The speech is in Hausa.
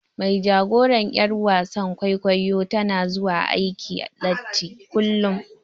Mai jagoran yar wasan kwaikwayo tana zuwa aiki latti kullum.